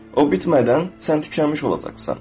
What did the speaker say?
O bitmədən sən tükənmiş olacaqsan.